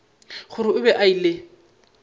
gore o be a ile